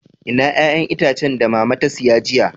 Ina 'ƴa'ƴan itacen da mama ta siya jiya?